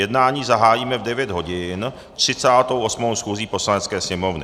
Jednání zahájíme v 9 hodin 38. schůzí Poslanecké sněmovny.